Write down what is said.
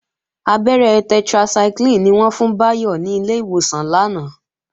Abẹ́rẹ́ tetracycline ni wọ́n fún Báyọ̀ ní ilé ìwòsàn lánàá